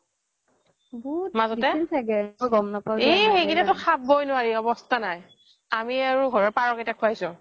মাজতে এই সেইকিতা খাব নোৱাৰি অৱস্থা নাই আমি ঘৰৰ পাৰ কেইটাক খোৱাইছো